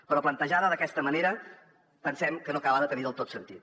però plantejada d’aquesta manera pensem que no acaba de tenir del tot sentit